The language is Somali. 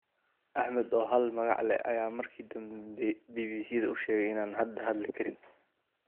Axmed oo hal magac leeh ayaa markii dambe BBC-da u sheegay in aan hadda hadli karin.